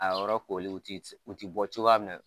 A yɔrɔ kooli u tɛ bɔ cogoya min na